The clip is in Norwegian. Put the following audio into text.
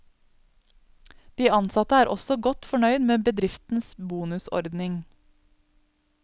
De ansatte er også godt fornøyd med bedriftens bonusordning.